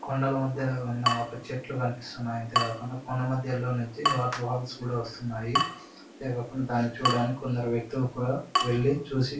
కొండల మధ్య ఉన్న ఒక చెట్లు కనిపిస్తున్నాయి. అంతే కాకూండా కొండా మధ్యలో నుంచి వాటర్ వాల్స్ కూడా వస్తున్నాయి. అంతేకాకుండా ధాన్నై చూడటానికి కొందరు వ్యక్తులు కూడా వెళ్లి చూసి--